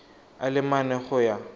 a le mane go ya